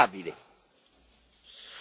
Siete degli irresponsabili!